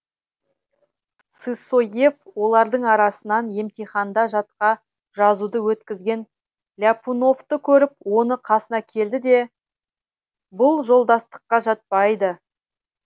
сысоев олардың арасынан емтиханда жатқа жазуды өткізген ляпуновты көріп оның қасына келді де бұл жолдастыққа жатпайды